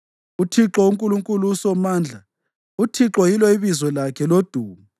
uThixo uNkulunkulu uSomandla, uThixo yilo ibizo lakhe lodumo!